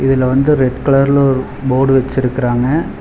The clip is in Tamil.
இதுல வந்து ரெட் கலர்ல ஒரு போடு வெச்சிருக்குறாங்க.